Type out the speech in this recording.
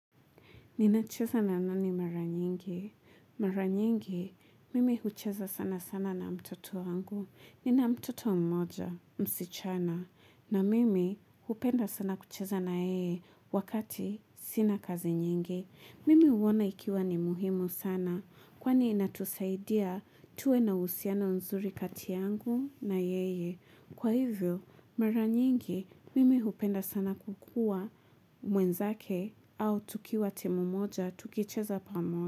Nina cheza na nani mara nyingi. Mara nyingi, mimi hucheza sana sana na mtoto wangu. Nina mtoto mmoja, msichana. Na mimi, hupenda sana kucheza na yeye wakati sina kazi nyingi. Mimi huona ikiwa ni muhimu sana. Kwani inatusaidia tuwe na uhusiano nzuri kati yangu na yeye. Kwa hivyo, mara nyingi, mimi hupenda sana kukua mwenzake au tukiwa temu mmoja tukicheza pamoja.